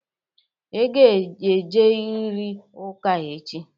Ị ga-eje riri ụka echi!